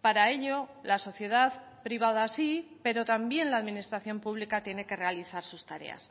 para ello la sociedad privada sí pero también la administración pública tiene que realizar sus tareas